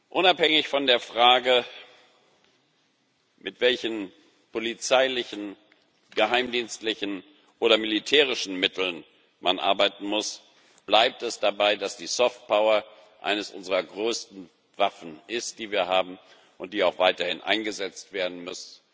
Unabhängig von der Frage, mit welchen polizeilichen, geheimdienstlichen oder militärischen Mitteln man arbeiten muss, bleibt es dabei, dass die Soft Power eines unserer größten Waffen ist, die wir haben und die auch weiterhin eingesetzt werden muss.